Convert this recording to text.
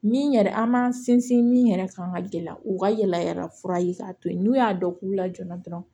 Min yɛrɛ an ma sinsin min yɛrɛ kan ka gɛlɛya u ka yala yala fura ye k'a to yen n'u y'a dɔn k'u lajɔ dɔrɔn